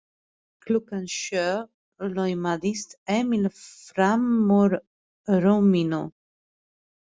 Klukkan sjö laumaðist Emil frammúr rúminu.